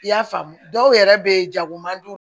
I y'a faamu dɔw yɛrɛ bɛ jago man jugu